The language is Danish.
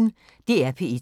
DR P1